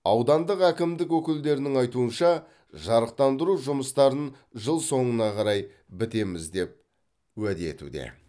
аудандық әкімдік өкілдерінің айтуынша жарықтандыру жұмыстарын жыл соңына қарай бітеміз деп уәде етуде